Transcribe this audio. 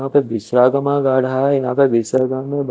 वापे विष वाग्मा गाड़ा हैं यहा पे विसागामी बा--